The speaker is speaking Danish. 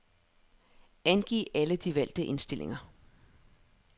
Angiv alle de valgte indstillinger.